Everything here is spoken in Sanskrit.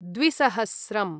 द्विसहस्रम्